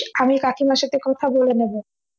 আমি কাকিমার সাথে কথা বলে নেব